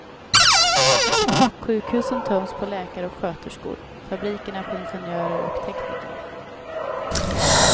Sjukhusen töms på läkare och sköterskor, fabrikerna på ingenjörer och tekniker.